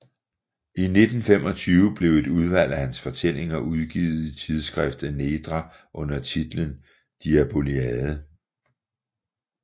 I 1925 blev et udvalg af hans fortællinger udgivet i tidsskriftet Nedra under titlen Diaboliade